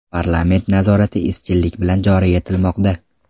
Parlament nazorati izchillik bilan joriy etilmoqda.